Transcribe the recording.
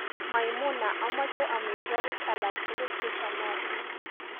maimuna amoje omitwogik alaktugul chechomotin